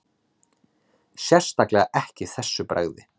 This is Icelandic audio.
Sérstaklega ekki þessu bragði